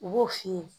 U b'o f'i ye